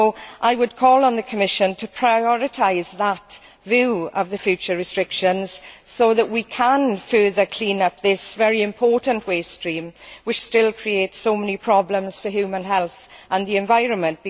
So I would call on the Commission to prioritise that view of the future restrictions so that we can further clean up this very important waste stream, which still creates so many problems for human health and the environment.